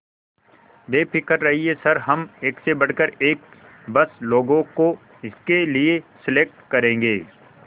बेफिक्र रहिए सर हम एक से बढ़कर एक बस लोगों को इसके लिए सेलेक्ट करेंगे